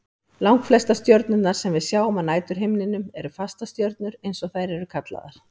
Langflestar stjörnurnar sem við sjáum á næturhimninum eru fastastjörnur eins og þær eru kallaðar.